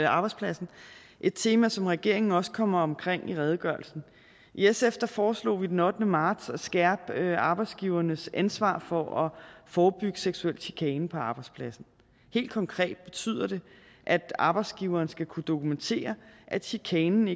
arbejdspladsen et tema som regeringen også kommer omkring i redegørelsen i sf foreslog vi den ottende marts at skærpe arbejdsgivernes ansvar for at forebygge seksuel chikane på arbejdspladsen helt konkret betyder det at arbejdsgiveren skal kunne dokumentere at chikanen